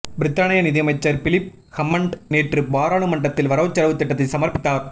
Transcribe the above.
பிரித்தானிய நிதியமைச்சர் Philip Hammond நேற்று பாராளுமன்றத்தில் வரவுசெலவுத் திட்டத்தை சமர்ப்பித்தார